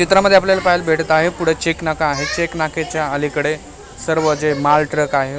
चित्रांमध्ये आपल्याला पाहायला भेटत आहे पुढे चेक नाका आहे चेक नाक्याच्या अलीकडे सर्व जे माल ट्रक आहे.